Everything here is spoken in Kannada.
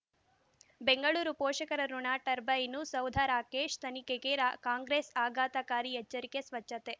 ಬೆಂಗಳೂರು ಪೋಷಕರಋಣ ಟರ್ಬೈನು ಸೌಧ ರಾಕೇಶ್ ತನಿಖೆಗೆ ರ ಕಾಂಗ್ರೆಸ್ ಆಘಾತಕಾರಿ ಎಚ್ಚರಿಕೆ ಸ್ವಚ್ಛತೆ